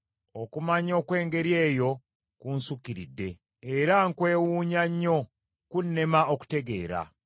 Okumanya okw’engeri eyo kunsukkiridde, era nkwewuunya nnyo, kunnema okutegeera.